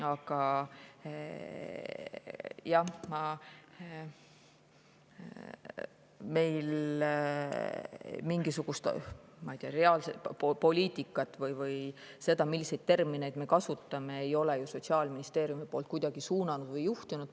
Aga meie Sotsiaalministeeriumis ei ole mingisugust, ma ei tea, reaalset poliitikat või seda, milliseid termineid tuleks kasutada, kuidagi suunanud või juhtinud.